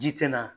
Ji tɛ na